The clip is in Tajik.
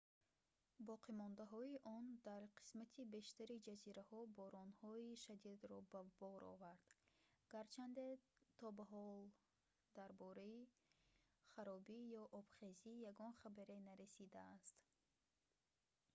боқимондаҳои он дар қисмати бештари ҷазираҳо боронҳои шадидро ба бор овард гарчанде то ба ҳол дар бораи харобӣ ё обхезӣ ягон хабаре нарасидааст